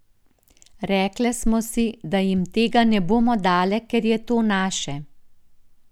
Rekle smo si, da jim tega ne bomo dale, ker je to naše.